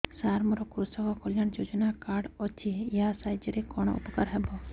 ସାର ମୋର କୃଷକ କଲ୍ୟାଣ ଯୋଜନା କାର୍ଡ ଅଛି ୟା ସାହାଯ୍ୟ ରେ କଣ ଉପକାର ହେବ